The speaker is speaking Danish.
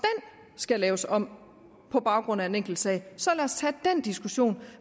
skal laves om på baggrund af en enkelt sag så lad os tage den diskussion